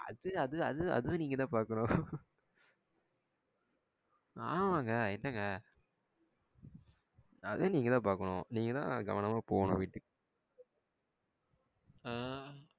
அது அது அது அதுவும் நீங்கதா பாக்கணும். ஆமாங்க என்னங்க அதுவும் நீங்கதா பாக்கணும். நீங்காத கவனமா போகனும் வீட்டுக் அஹ